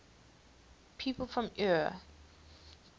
people from eure